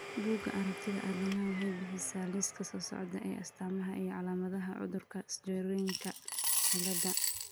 Bugaa aragtida aDdanaha waxay bixisaa liiska soo socda ee astamaha iyo calaamadaha cudurka Sjogrenka ciladha.